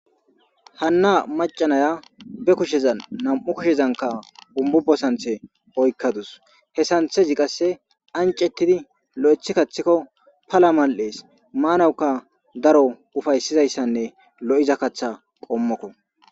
Hanna macanaya be kusheza nam7u kushezanka umbubo santhe oykkadus he santhezi qasse ancettidi lo7ethi kaththikko pala mal7ees maanawukka daro ufaysizayssanne lo7iza katha qommokko.